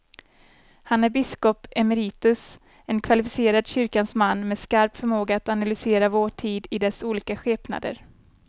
Han är biskop emeritus, en kvalificerad kyrkans man med skarp förmåga att analysera vår tid i dess olika skepnader.